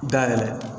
Dayɛlɛ